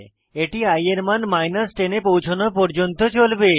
এটি i এর মান 10 এ পৌছনো পর্যন্ত চলবে